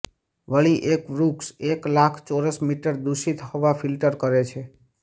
વળી એક વૃક્ષ એક લાખ ચોરસ મીટર દૂષિત હવા ફિલ્ટર કરે છે